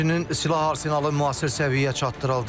Həmçinin silah-arsenalı müasir səviyyəyə çatdırıldı.